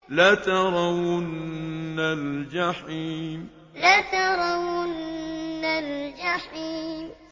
لَتَرَوُنَّ الْجَحِيمَ لَتَرَوُنَّ الْجَحِيمَ